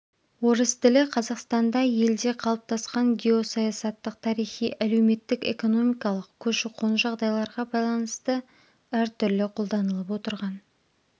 орыс тілі қазақстанда елде қалыптасқан геосаясаттық тарихи әлеуметтік-экономикалық көші-қон жағдайларға байланысты әртүрлі қолданылып отырған